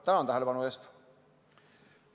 Tänan tähelepanu eest!